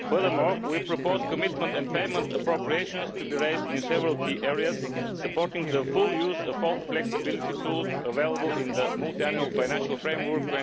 Furthermore we propose that commitment and payment appropriations be raised in several key areas, supporting the full use of all flexibility tools available in the Multiannual Financial Framework